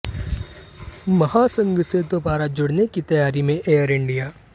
महासंघ से दोबारा जुडऩे की तैयारी में एयर इंडिया